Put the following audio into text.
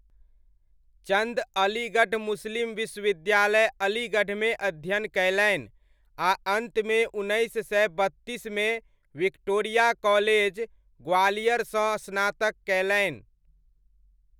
चन्द अलीगढ़ मुस्लिम विश्वविद्यालय, अलीगढ़मे अध्ययन कयलनि आ अन्तमे उन्नैस सय बत्तीसमे विक्टोरिया कॉलेज, ग्वालियरसँ स्नातक कयलनि।